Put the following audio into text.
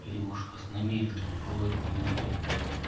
или может вас намеренно укололи менты